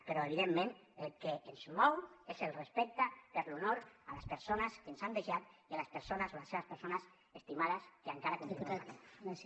però evidentment el que ens mou és el respecte per l’honor a les persones que ens han deixat i a les persones o les seves persones estimades que encara continuen patint